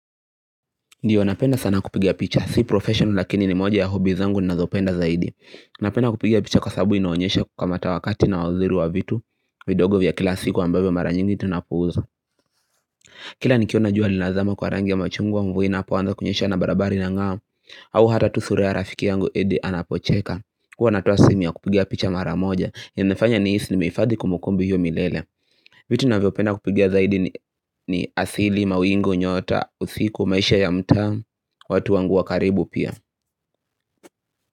Ndiyo napenda sana kupigia picha, si profession lakini ni moja ya hobby zangu ni nazopenda zaidi. Napenda kupigia picha kwasabu inoonyesha kukamata wakati na waziru wa vitu, vidogo vya kila siku ambabe mara nyingi tinapuza. Kila nikiona juwa linazama kwa rangi ya machungwa au mvua inapo anza kunyesha an barabara inangaa, au hata tu sura rafiki yangu edi anapocheka. Huwa natoa simi ya kupiga picha mara moja, yanifanya nihisi nimehifadhi kumbukumbu hiyo milele. Vitu navyo penda kupiga zaidi ni ni asili mawingu nyota usiku maisha ya mta watu wangu wakaribu pia.